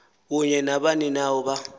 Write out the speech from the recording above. kunye nabaninawa ba